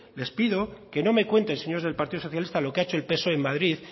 les pido que no me cuenten señores del partido socialista lo que ha hecho el psoe en madrid